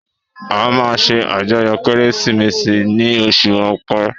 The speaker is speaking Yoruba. A máa ṣe àjọyọ̀ Kérésìmesì ni oṣù ọpẹ